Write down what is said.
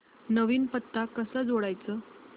नवीन पत्ता कसा जोडायचा